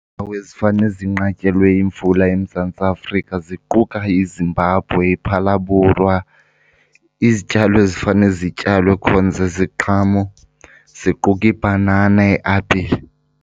ezifane zinqatyelwe yimvula eMzantsi Afrika ziquka iZimbabwe, iPhalabhorwa. Izityalo ezifane zityalwe khona ziziqhamo, ziquka ibhanana, iapile.